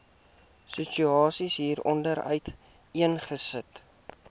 situasie hieronder uiteengesit